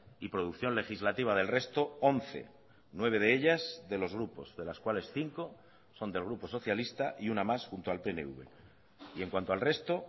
y producción legislativa del resto once nueve de ellas de los grupos de las cuales cinco son del grupo socialista y una más junto al pnv y en cuanto al resto